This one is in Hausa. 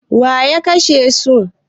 Waya kashe su?